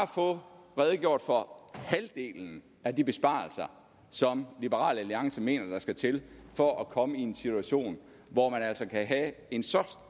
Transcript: få redegjort for halvdelen af de besparelser som liberal alliance mener der skal til for at komme i en situation hvor man altså kan have en så